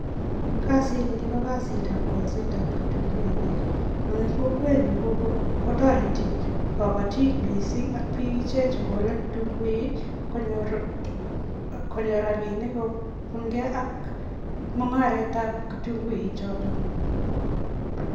Kazini ko kazitab kolsetab kitunguinik eng kokwenyu kotoreti kabatik missing ak bik ichek che kolei kitunguik konyor konyor rabiinik kobungei ak mungaretab kitunguik chotok.